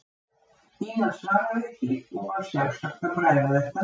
Ína svaraði ekki og var sjálfsagt að bræða þetta með sér.